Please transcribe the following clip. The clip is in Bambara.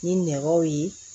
Ni nɛgɛw ye